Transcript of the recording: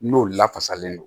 N'olu lafasalen don